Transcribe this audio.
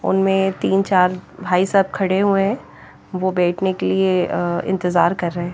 उनमें तीन चार भाई साहब खड़े हुए हैं वो बैठने के लिए इंतजार कर रहे हैं।